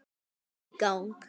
Lengi í gang.